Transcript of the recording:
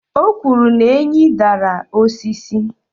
o kwuru na enyí dara osisi